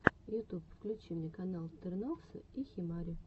ютуб включи мне канал тернокса и химари